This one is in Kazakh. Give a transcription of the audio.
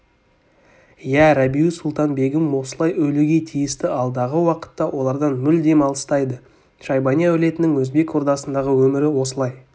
иә рабиу-сұлтан-бегім осылай өлуге тиісті алдағы уақытта олардан мүлдем алыстайды шайбани әулетінің өзбек ордасындағы өмірі осылай